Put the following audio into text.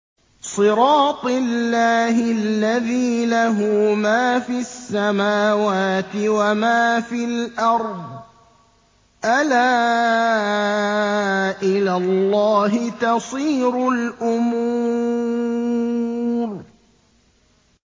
صِرَاطِ اللَّهِ الَّذِي لَهُ مَا فِي السَّمَاوَاتِ وَمَا فِي الْأَرْضِ ۗ أَلَا إِلَى اللَّهِ تَصِيرُ الْأُمُورُ